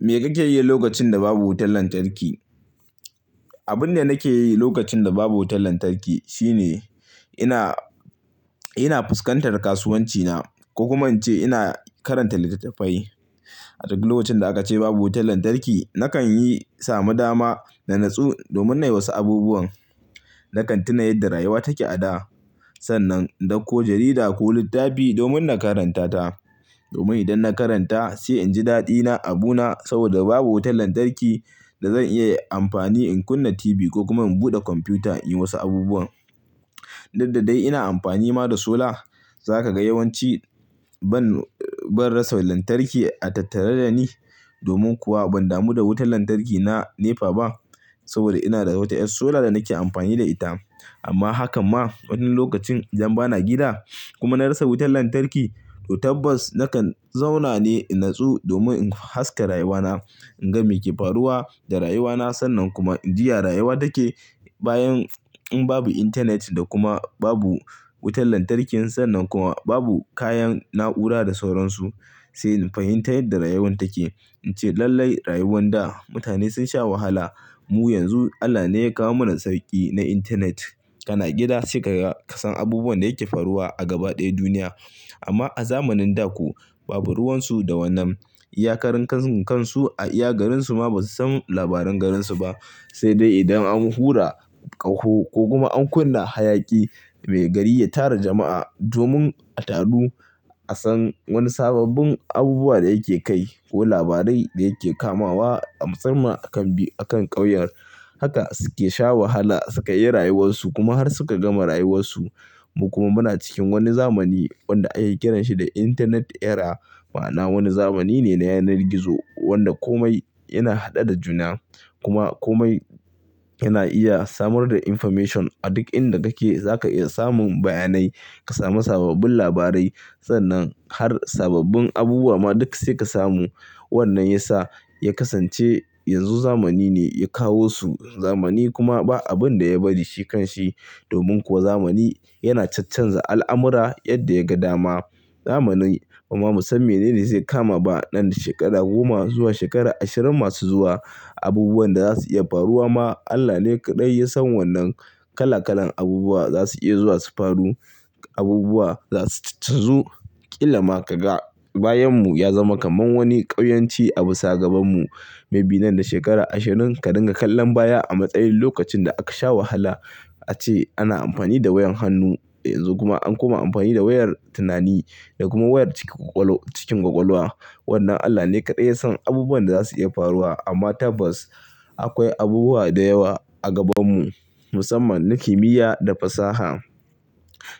Me kake yi lokacin da babu wutar lantarki? Abin da nake yi lokacin da babu wutar lantarki shine ina ina fuskantar kasuwancina, ko kuma in ce ina karanta littattafai. A duk lokacin da aka ce babu wutar lantarki, nakan yi samu dama da natsu domin na yi wasu abubuwan. Nakan tuna yadda rayuwa take a da. Sannan in dauko jarida ko littafi domin na karanta ta. Domin idan na karanta, sai in ji daɗina abu na. Saboda babu wutar lantarki da zan iya amfani in kunna TV ko kuma in buɗe kwamfuta in yi wasu abubuwan. Daddadai ina amfani ma da solar. Zaka ga yawanci ban rasa lantarki a tattare da ni. Domin kuwa ban damu da wutar lantarki na NEPA ba. Saboda ina da wata ƴar solar da nake amfani da ita. Amma hakan ma, wani lokacin idan bana gida kuma na rasa wutar lantarki, to tabbas nakan zauna ne in natsu domin in haska rayuwana. In ga me ke faruwa da rayuwana. Sannan kuma in ji ya rayuwa take. Bayan in babu internet da kuma babu wutar lantarkin, sannan kuma babu kayan na'ura da sauransu, sai in fahimtai yadda rayuwan take. In ce lallai rayuwan da mutane sun sha wahala. Mu yanzu Allah ne ya kawo mana sauƙi na internet. Kana gida sai ka ga ka san abubuwan da yake faruwa a gaba ɗaya duniya. Amma a zamanin da ko babu ruwan su da wannan. Iyakarun kansu a iya garinsu ma ba su san labaran garinsu ba, sai dai idan an hura ƙaho ko kuma an kunna hayaƙi mai gari ya tara jama'a domin a taru a san wani sabobbin abubuwa da yake kai ko labarai da yake kamawa a musamman a kan a kan ƙauyen. Haka su ke sha wahala su ka yi rayuwarsu kuma har suka gama rayuwarsu. Mu kuma muna cikin wani zamani wanda ake kiranshi da Internet Era. Ma'ana wani zamani ne na yanar gizo wanda kome yana haɗe da juna. Kuma kome yana iya samar da information. A duk inda kake za ka iya samun bayanai. Ka sami sabobbin labarai. Sannan har sabobbin abubuwa ma duk sai ka samu. Wannan ya sa ya kasance yanzu zamani ne ya kawo su. Zamani kuma ba abin da ya bari shi kan shi. Domin kuwa zamani yana cacanza al'amura yadda ya ga dama. Zamani kuma mu san menene zai kama ba. Nan da shekara goma zuwa shekara ashirin masu zuwa abubuwan da za su iya faruwa ma Allah ne kaɗai ya san wannan. Kala kalan abubuwa za su iya zuwa su faru. Abubuwa za su cacanzu. Kila ma ka ga bayanmu ya zama kamar wani ƙauyanci abu sa gabanmu. Mai bi nan da shekara ashirin ka dinga kallon baya a matsayin lokacin da aka sha wahala. Ace ana amfani da wayan hannu. Yanzu kuma an koma amfani da wayar tunani da kuma wayar cikin kwakwalwa. Wannan Allah ne kaɗai ya san abubuwan da za su iya faruwa. Amma tabbas akwai abubuwa da yawa a gabanmu. Musamman na kimiyya da fasaha.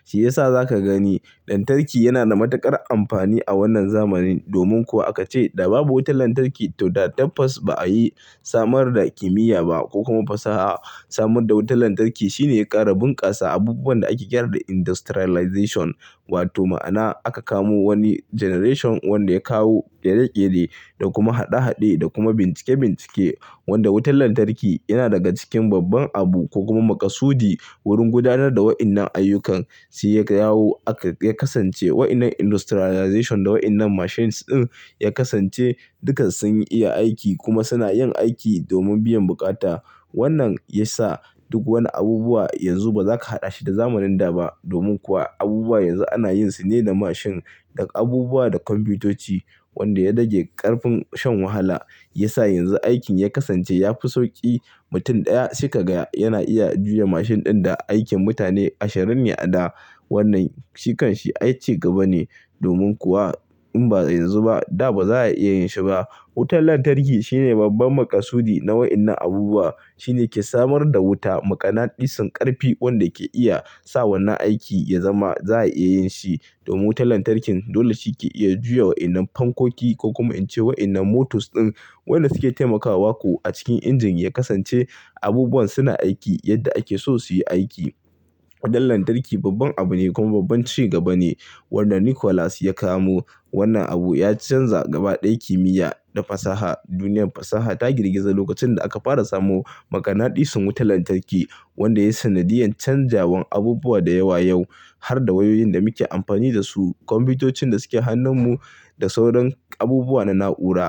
Shi ya sa za ka gani lantarki yana da matuƙar amfani a wannan zamanin. Domin kuwa aka ce da babu wutar lantarki to da tabbas ba a yi samar da kimiyya ba ko kuma fasaha. Samar da wutar lantarki shine ya ƙara bunƙasa abubuwan da ake kira da industrialization. Wato ma'ana aka kamo wani generation wanda ya kawo ɗereɗere da kuma haɗe haɗe da kuma bincike bincike. Wanda wutar lantarki yana daga cikin babban abu ko kuma maƙasudi wurin gudanar da wayannan ayyukan. Shi ya kawo aka ya kasance wayannan industrialization da wayannan machines ɗin ya kasance duka sun iya aiki kuma suna yin aiki domin biyan bukata. Wannan ya sa duk wani abubuwa yanzu ba za ka haɗa shi da zamanin da ba. Domin kuwa abubuwa yanzu ana yin su ne da mashin da abubuwa da kwamfutoci. Wanda ya rage ƙarfin shan wahala. Ya sa yanzu aikin ya kasance ya fi sauƙi. Mutum ɗaya sai ka ga yana iya juya mashin ɗin da aikin mutane ashirin ne a da. Wannan shi kan shi ai cigaba ne. Domin kuwa in ba yanzu ba da ba za a iya yin shi ba. Wutar lantarki shine babban maƙasudi na wayannan abubuwa. Shine ke samar da wuta. Maƙanaɗin san ƙarfi wanda ke iya sa wannan aiki ya zama za a iya yin shi. Domin wutar lantarkin dole shi ke iya juya wayannan fankoki ko kuma in ce waɗannan motors ɗin wanda suke taimakawa ko a cikin injin ya kasance abubuwan suna aiki yadda ake so su yi aiki. Dan lantarki babban abu ne kuma babban cigaba ne. Wanda Nikolas ya kamo wannan abu ya canza gaba ɗaya kimiyya da fasaha. Duniyar fasaha ta girgiza lokacin da aka fara samu maganadi sun wutar lantarki. Wanda ya yi sanadiyan canjawan abubuwa da yawa yau har da wayoyin da muke amfani da su, kwamfutocin da suke hannun mu da sauran abubuwa na na'ura.